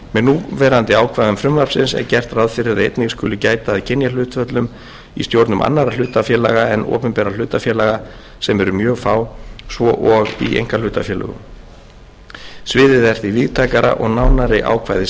núverandi ákvæðum frumvarpsins er gert ráð fyrir að einnig skuli gæta að kynjahlutföllum í stjórnum annarra hlutafélaga en opinberra hlutafélaga sem eru mjög fá svo og í einkahlutafélögum sviðið er því víðtækara og nánari ákvæði